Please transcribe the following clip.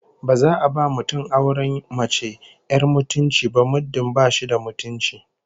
Ba za a ba mutum auren mace 'yar mutunci ba muddin ba shi da mutunci